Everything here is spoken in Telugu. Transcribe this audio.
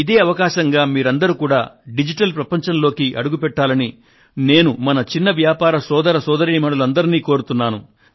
ఇదే అవకాశంగా మీరందరూ కూడా డిజిటల్ ప్రపంచంలోకి అడుగుపెట్టాలని మన చిన్న వ్యాపార సోదర సోదరీమణులందరినీ నేను కోరుతున్నాను